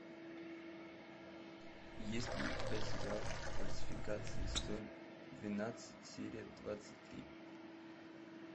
есть ли у тебя сериал фальсификация сезон двенадцать серия двадцать три